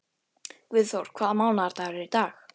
Guðþór, hvaða mánaðardagur er í dag?